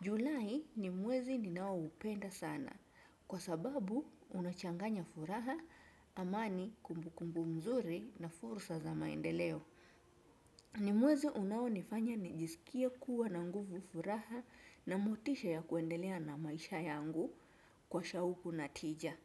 Julai ni mwezi ninaoupenda sana. Kwa sababu unachanganya furaha amani kumbukumbu mzuri na fursa za maendeleo. Ni mwezi unaonifanya nijisikie kuwa na nguvu furaha na motisha ya kuendelea na maisha yangu kwa shauku na tija.